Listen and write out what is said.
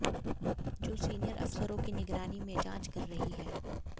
जो सीनियर अफसरों की निगरानी में जांच कर रही है